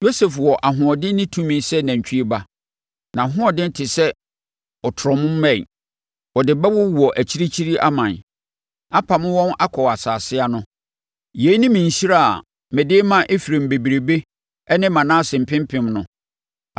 Yosef wɔ ahoɔden ne tumi sɛ nantwie ba. Nʼahoɔden te sɛ ɔtrɔm mmɛn. Ɔde bɛwowɔ akyirikyiri aman, apamo wɔn akɔ asase ano. Yei ne me nhyira a mede rema Efraim bebrebe ne Manase mpempem no.”